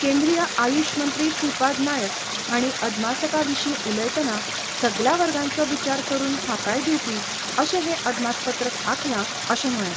केंद्रीय आयुष मंत्री श्रीपाद नायक हांणी अदमासका विशीं उलयतना सगल्या वर्गांचो विचार करून थाकाय दिवपी अशें हें अदमासपत्रक आंखला अशें म्हळें.